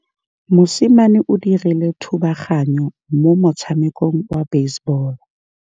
Mosimane o dirile thubaganyô mo motshamekong wa basebôlô.